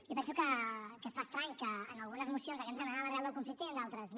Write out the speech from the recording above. jo penso que es fa estrany que en algunes mocions hàgim d’anar a l’arrel del conflicte i en d’altres no